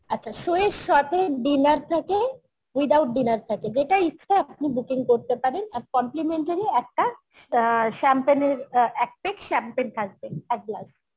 আচ্ছা show এর সাথে dinner থাকে without dinner থাকে যেটা ইচ্ছা আপনি booking করতে পারেন আর complimentary একটা অ্যাঁ Champagne এর অ্যাঁ এক পেক Champagne থাকবে এক glass